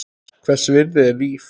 Hvers virði er líf?